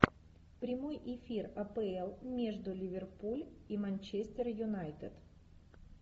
прямой эфир апл между ливерпуль и манчестер юнайтед